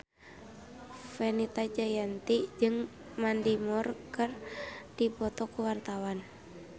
Fenita Jayanti jeung Mandy Moore keur dipoto ku wartawan